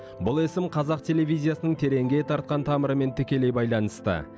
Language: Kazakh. бұл есім қазақ телевизиясының тереңге тартқан тамырымен тікелей байланысты